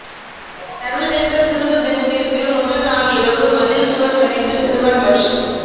சர்வதேச சிறுவர் தினத்திற்கு முதல் நாளிரவு மதில் சுவர் சரிந்து சிறுவன் பலி